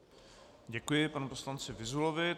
Děkuji panu poslanci Vyzulovi.